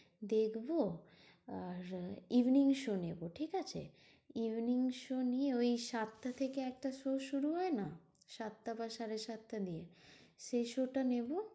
দেখবো আর আহ evening show নেবো, ঠিকাছে? evening show নিয়ে ওই সাতটা থেকে একটা show শুরু হয় না? সাতটা বা সাড়ে সাতটা নিয়ে। সেই show টা নেবো।